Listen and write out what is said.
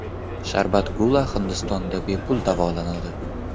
Sharbat Gula Hindistonda bepul davolanadi.